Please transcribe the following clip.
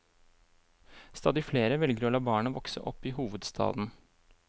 Stadig flere velger å la barna vokse opp i hovedstaden.